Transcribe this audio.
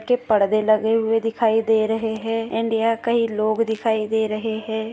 के पड़दे लगे हुए दिखाई दे रहे है अँड यहाँ कई लोग दिखाई दे रहे है।